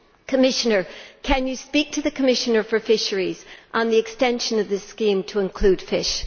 Commissioner, can you speak to the Commissioner for fisheries on the extension of this scheme to include fish?